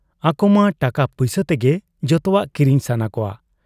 ᱟᱠᱚᱢᱟ ᱴᱟᱠᱟ ᱯᱩᱭᱥᱟᱹ ᱛᱮᱜᱮ ᱡᱚᱛᱚᱣᱟᱜ ᱠᱤᱨᱤᱧ ᱥᱟᱱᱟ ᱠᱚᱣᱟ ᱾